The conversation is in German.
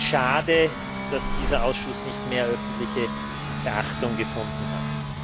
Es ist schade, dass dieser Ausschuss nicht mehr öffentliche Beachtung gefunden hat.